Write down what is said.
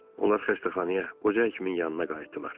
Onlar xəstəxanaya qoca həkimin yanına qayıtdılar.